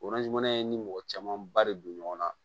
ye n ni mɔgɔ caman ba de don ɲɔgɔn na